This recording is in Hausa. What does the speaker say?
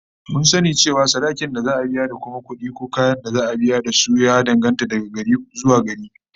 Mun sani cewa yawan sadakin da za'a biya da kuma kudi ko kayan da za'a biya da su, ya danganta daga gari zuwa gari